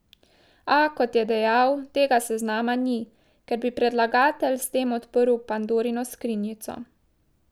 A, kot je dejal, tega seznama ni, ker bi predlagatelj s tem odprl pandorino skrinjico.